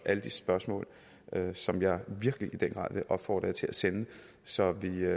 alle de spørgsmål som jeg virkelig vil opfordre jer til at sende så vi